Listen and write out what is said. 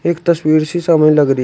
एक तस्वीर सी समय लग रही--